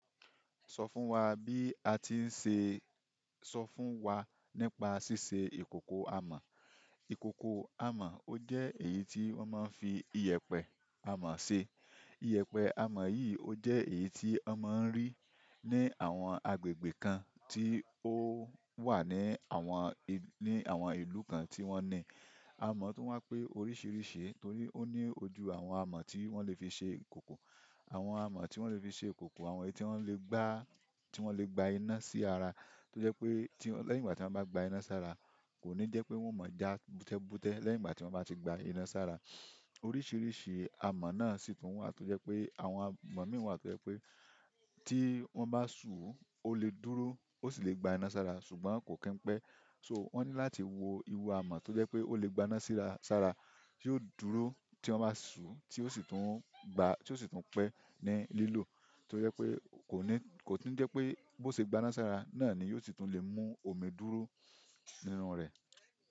Sọ fún wa bí a ti ń ṣe, sọ fún wa nípa ṣíṣe ìkòkò amọ̀. Ìkòkò amọ̀, ó jẹ́ èyí tí wọ́n máa ń fi iyẹpẹ amọ̀ ṣe. Iyẹpẹ amọ̀ yìí ó jẹ́ èyí tí a máa ń rí ní àwọn agbègbè kan tí ó wà ní àwọn, ni àwọn ìlú kan tí wọ́n ní amọ̀ tun wá pé oríṣiríṣi, torí ó ní ojú àwọn amọ̀ tí wọ́n le fi ṣe ìkòkò. Àwọn amo ti won le fi se ikoko àwọn èyí ti won le gba, ti won le gba ina si ara, to je pe ti lehin ìgbà ti won ba gba ina sara, koni je pe won o ma ja bute bute lẹ́yìn ìgbà tiwon ba ti gba ina sara. Oríṣiríṣi amọ̀ náà sì tún wà tó jẹ́ pé àwọn amọ̀ mìí wà tó jẹ́ pé tí wọ́n bá ṣú, ó lè dúró, ó sì lè gbá iná sara, ṣùgbọ́n kò kín pẹ́. So wọ́n ní láti wo iru amọ̀ tó jẹ́ pé ó lè gbá iná síra sára, tí yóò dúró tí wọ́n bá ṣú tí ó sì tún gba, tí ó sì tún pẹ́ ní lílò. To je pé kò ní, kò tí ń jẹ́ pé bó ṣe gbá iná sí ara, náà ni yóò sì tún lè mú omi dúró nínú rẹ̀.